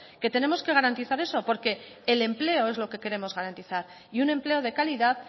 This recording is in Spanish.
que tenemos que garantizar eso porque el empleo es lo que queremos garantizar y un empleo de calidad